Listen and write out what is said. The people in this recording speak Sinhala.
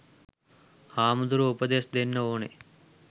හාමුදුරුවො උපදෙස් දෙන්න ඕනෙ